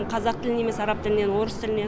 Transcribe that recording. қазақ тілінен немесе араб тілінен орыс тіліне